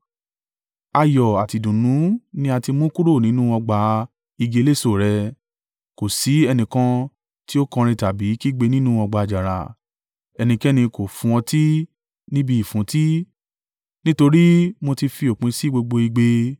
Ayọ̀ àti ìdùnnú ni a ti mú kúrò nínú ọgbà-igi eléso rẹ; kò sí ẹnìkan tí ó kọrin tàbí kígbe nínú ọgbà àjàrà: ẹnikẹ́ni kò fún ọtí níbi ìfúntí, nítorí mo ti fi òpin sí gbogbo igbe.